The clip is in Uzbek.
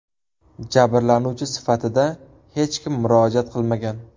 Jabrlanuvchi sifatida hech kim murojaat qilmagan.